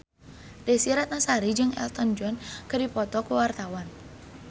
Desy Ratnasari jeung Elton John keur dipoto ku wartawan